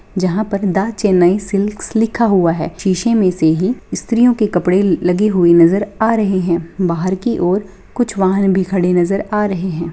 जहाँ पर the Chennai silks लिखा हुआ है शीशे में से है स्त्रियों के कपड़े लगे हुए नजर आ रहे हैं बाहर की ओर कुछ वाहन भी खड़े नजर आ रहे है।